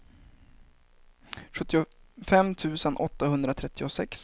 sjuttiofem tusen åttahundratrettiosex